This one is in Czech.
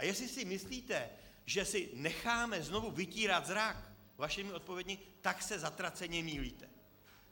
A jestli si myslíte, že si necháme znovu vytírat zrak vašimi odpověďmi, tak se zatraceně mýlíte.